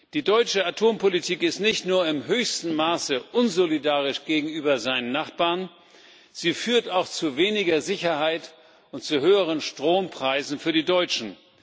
Die deutsche Atompolitik ist nicht nur im höchsten Maße unsolidarisch gegenüber den Nachbarn Deutschlands, sie führt auch zu weniger Sicherheit und zu höheren Strompreisen für die Deutschen.